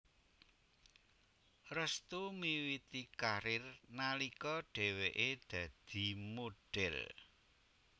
Restu miwiti karir nalika dheweké dadi modhel